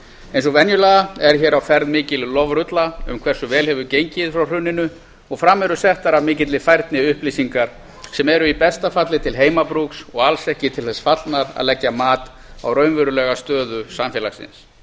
eins og venjulega er hér á ferð mikil lofrulla um hversu vel hefur gengið frá hruninu og fram eru settar af mikilli færni upplýsingar sem eru í besta falli til heimabrúks og alls ekki til þess fallnar að leggja mat á raunverulega stöðu samfélagsins